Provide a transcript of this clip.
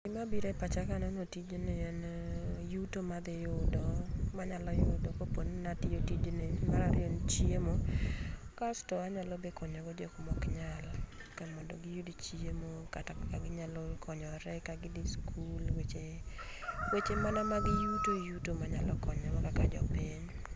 Gima biro e pacha kaneno tijni en yuto madhi yudo manyalo yudo koponi nanya timo tijni. Mar ariyo en chiemo ,kasto be anyalo konyo go jomak ok nyal kaka kamondo giyud chiemo kata kaka ginyalo konyore ka gidhu skul, weche, weche mana mag yuto yuto manyalo konyo go kaka jopiny